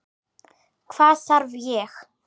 Hvað þarf ég?